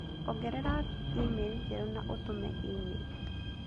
ongerera email njerũ na ũtũme email